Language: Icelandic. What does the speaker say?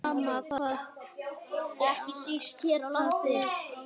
Sama hvað bjátaði á.